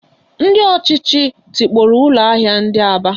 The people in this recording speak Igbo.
Ndị ọchịchị tikpọrọ ụlọ ahịa ndị Aba